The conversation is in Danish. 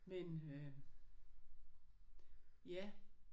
Men øh ja